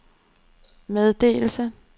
meddelelse